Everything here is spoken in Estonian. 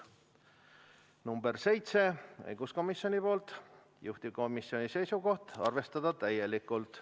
Ettepanek nr 7, esitanud õiguskomisjon, juhtivkomisjoni seisukoht: arvestada täielikult.